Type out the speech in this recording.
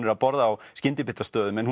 er að borða á skyndibitastöðum en